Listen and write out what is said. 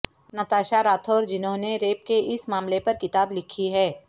نتاشا راتھر جنھوں نے ریپ کے اس معاملے پر کتاب لکھی ہے